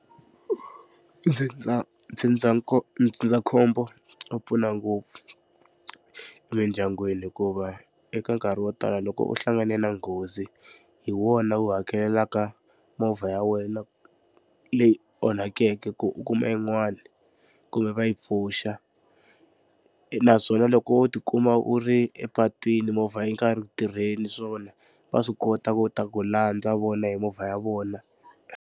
ndzindzakhombo wu pfuna ngopfu emindyangwini hikuva eka nkarhi wo tala loko u hlangane na nghozi hi wona wu hakelelaka movha ya wena leyi onhakeke ku u kuma yin'wana kumbe va yi pfuxa naswona loko u tikuma u ri epatwini movha yi nga ri ku tirheni swona va swi kota ku ta ku landza vona hi movha ya vona.